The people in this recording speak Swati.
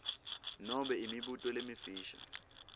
nobe imibuto lemifisha